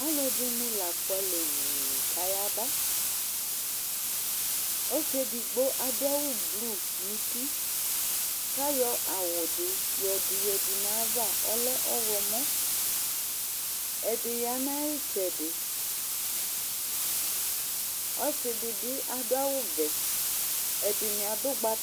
Alʋɛdɩnɩ la fʋalɛ wuu kʋ ayaba Ɔsɩ edigbo adʋ awʋblu nʋ uti kʋ ayɔ awʋ dɩ yɔdʋ yǝdu nʋ ayava, ɔlɛ ɔɣlɔmɔ Ɛdɩ ya nʋ ayʋ ɩtsɛdɩ Ɔsɩ dɩ bɩ adʋ awʋvɛ, ɛdɩnɩ adʋ ʋgbatawla